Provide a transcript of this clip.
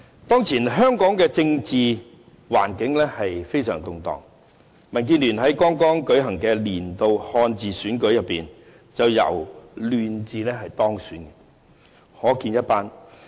當前香港的政治環境非常動盪，民建聯剛舉行的年度漢字選舉由"亂"字當選，可見一斑。